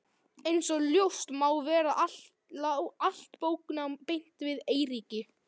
Einsog ljóst má vera lá allt bóknám beint við Eiríki.